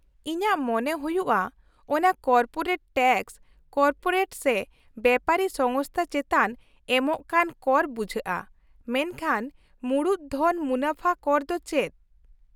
-ᱤᱧᱟᱹᱜ ᱢᱚᱱᱮ ᱦᱩᱭᱩᱜᱼᱟ ᱠᱚᱱᱟ ᱠᱚᱨᱯᱳᱨᱮᱴ ᱴᱮᱠᱥ ᱠᱚᱨᱯᱳᱨᱮᱴ ᱥᱮ ᱵᱮᱯᱟᱨᱤ ᱥᱚᱝᱥᱛᱷᱟ ᱪᱮᱛᱟᱱ ᱮᱢᱚᱜ ᱠᱟᱱ ᱠᱚᱨ ᱵᱩᱡᱷᱟᱹᱜᱼᱟ, ᱢᱮᱱᱠᱷᱟᱱ ᱢᱩᱲᱩᱫ ᱫᱷᱚᱱ ᱢᱩᱱᱟᱹᱯᱷᱟ ᱠᱚᱨ ᱫᱚ ᱪᱮᱫ ?